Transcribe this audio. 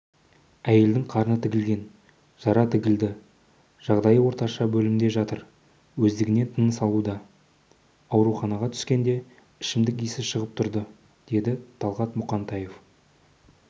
әйелдің қарны тілінген жара тігілді жағдайы орташа бөлімде жатыр өздігінен тыныс алуда ауруханаға түскенде ішімдік иісі шығып тұрды деді талғат мұқантаев